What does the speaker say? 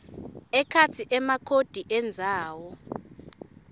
ekhatsi emakhodi endzawo